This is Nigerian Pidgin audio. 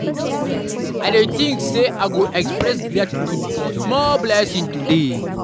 I dey think say I go express gratitude for small blessings today.